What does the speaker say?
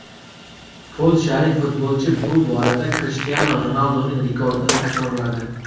Polshalik futbolchi bu borada Krishtianu Ronalduning rekordini takrorladi .